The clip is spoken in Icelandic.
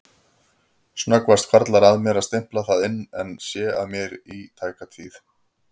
Snöggvast hvarflar að mér að stimpla það inn en sé að mér í tæka tíð.